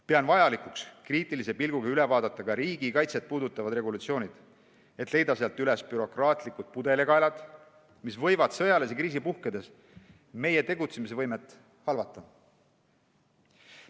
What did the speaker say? Pean vajalikuks kriitilise pilguga üle vaadata ka riigikaitset puudutavad regulatsioonid, et leida sealt üles bürokraatlikud pudelikaelad, mis võivad sõjalise kriisi puhkedes meie tegutsemisvõimet halvata.